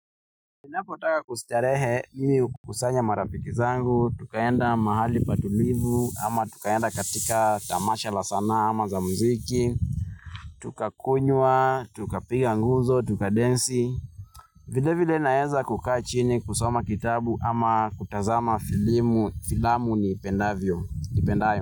Ninapotaka kustarehe ni hukusanya marafiki zangu, tukaenda mahali patulivu ama tukaenda katika tamasha la sanaa ama za muziki, tuka kunywa, tukapiga gumzo, tuka densi, vile vile naeza kukaa chini kusoma kitabu ama kutazama filamu niipendayo, ipendayo.